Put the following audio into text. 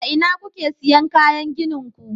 a ina kuke siyan kayan ginin ku